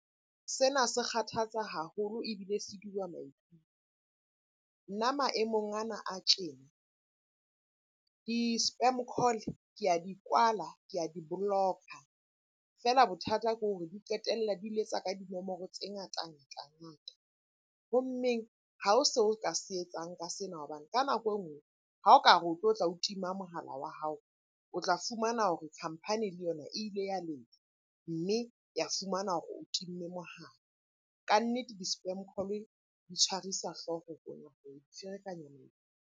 Sena se kgathatsa haholo ebile se maikutlo. Nna maemong ana a tjena di-spam call ke a di kwala, ke a di-block-a. Feela bothata ke hore di qetella di letsa ka dinomoro tse ngata-ngata ngata. Ho mmeng ha ho seo o ka se etsang ka sena hobane ka nako enngwe ha o ka re o tlotla o tima mohala wa hao, o tla fumana hore company le yona e ile ya letla mme ya fumana hore o timme mohala. Kannete di-spam call-e di tshwarisa hlooho ferekanya .